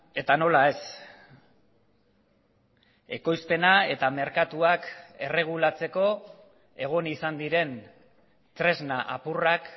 eta nola ez ekoizpena eta merkatuak erregulatzeko egon izan diren tresna apurrak